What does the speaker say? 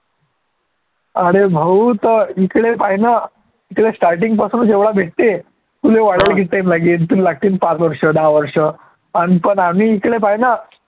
अरे भाऊ तर इकडे पाह्य नं ते starting पासूनचं एवढं भेटते तुले वाढवून तुला लागतीन पाच वर्ष दहा वर्ष अन पण आम्ही इकडे पाह्य नं